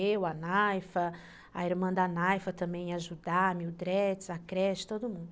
Eu, a Naifa, a irmã da Naifa também ia ajudar, a Mildred, a creche, todo mundo.